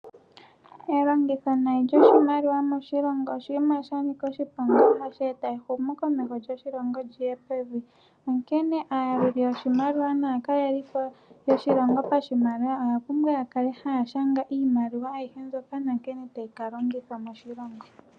Elongitho nayi shoshimaliwa moshilongo oshinima sha nika oshiponga, hashi eta ehumo komesho koshilongo liye pevi nonkene ayaluli yoshimaliwa nakalelipo yoshilongo pashimaliwa oya pumbwa ya kale ha shanga iimaliwa ayishe mboka nankene tayika longithwa moshilongo